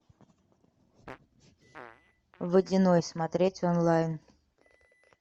водяной смотреть онлайн